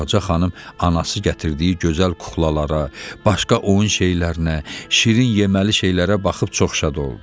Ağca xanım anası gətirdiyi gözəl kuklalara, başqa oyun şeylərinə, şirin yeməli şeylərə baxıb çox şad oldu.